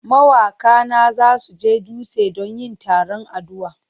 Mawaka na za su je dutse don yin taron addu'a.